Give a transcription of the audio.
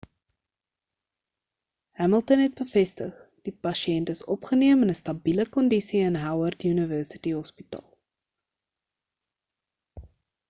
hamilton het bevestig die pasiënt is opgeneem in 'n stabile kondise in howard university hospital